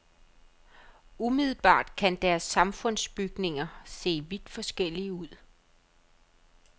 Umiddelbart kan deres samfundsbygninger se vidt forskellige ud.